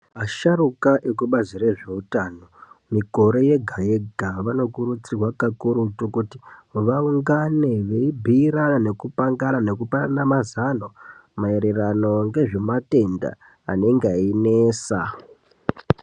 Asharukwa ekubazi rezveutano mikore yega yega vanokurudzirwa kakurutu kuti vaungane veibhuirana, nekupangana nekupana mazano maererano ngezvematenda anenge einesa.